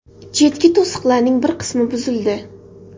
Chetki to‘siqlarning bir qismi buzildi.